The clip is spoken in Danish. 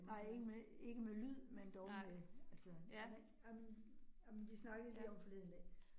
Nej ikke med ikke med lyd, men dog med altså, jamen jamen jamen vi snakkede lige om forleden dag